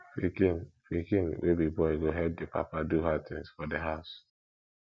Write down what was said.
pikin pikin wey be boy go help di papa do hard tins for di house